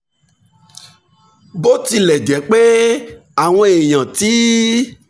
bó tilẹ̀ jẹ́ pé àwọn èèyàn ti